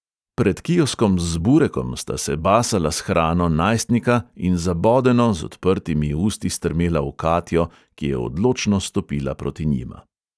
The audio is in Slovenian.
Pred kioskom z burekom sta se basala s hrano najstnika in zabodeno, z odprtimi usti strmela v katjo, ki je odločno stopila proti njima.